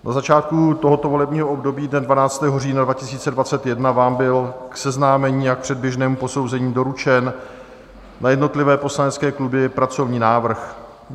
Na začátku tohoto volebního období dne 12. října 2021 vám byl k seznámení a k předběžnému posouzení doručen na jednotlivé poslanecké kluby pracovní návrh.